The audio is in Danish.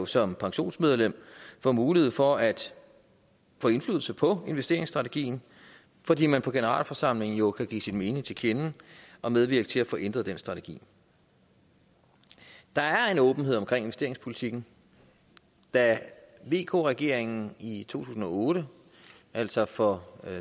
som pensionsmedlem få mulighed for at få indflydelse på investeringssstrategien fordi man på generalforsamlingen jo kan give sin mening til kende og medvirke til at få ændret den strategi der er åbenhed om investeringspolitikken da vk regeringen i i to tusind og otte altså for